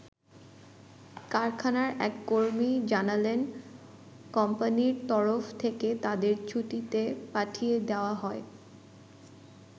কারখানার এক কর্মী জানালেন, কোম্পানির তরফ থেকে তাদের ছুটিতে পাঠিয়ে দেয়া হয়।